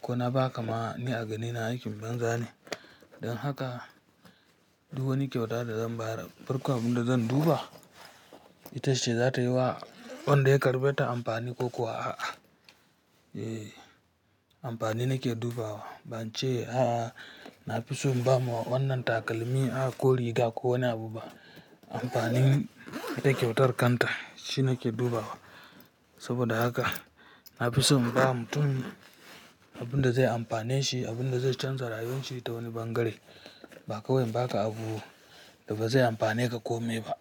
ko na ba ka ma ni a ganina aikin banza ne. Don haka duk wani kyauta da zan ba, farkon abun da zan duba ita ce za ta yi wa wanda ya karɓe ta amfani ko kuwa a'a. Eh amfani nike dubawa Bance a'a nafiso inbama wannan takalmi a ko riga ko wani abu ba Anfanin ita kyautar kanta shinike dubawa saboda haka, nafiso inba mutun Abunda ze amfaneshi abunda ze shanza rayuwan shi tawani ɓangare bakawai inbaka abu da baze amfane ka komai ba.